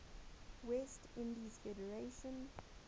west indies federation